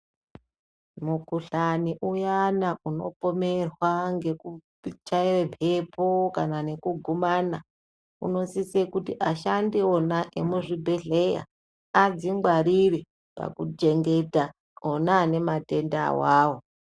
Mukuhlani uyani unopomerwa ngeku chaye mhepo kana ngekugumana unosise kuti ashandi vona vemuzvibhehleya adzingwarire pakuchengeta ona ane matenda awawo.